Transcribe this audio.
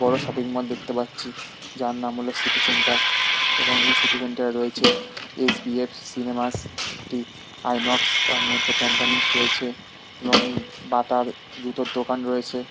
বড়ো shopping mall দেখতে পাচ্ছি যার নাম হলো সি.টি সেন্টার এবং এই সি.টি সেন্টার রয়েছে এস.ভি.এফ সিনেমা একটি আইনক তার মধ্যে প্যাণ্ডালিস্ট রয়েছেএবং বাটার জুতার দোকান রয়েছে।